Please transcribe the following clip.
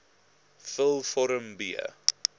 vul vorm b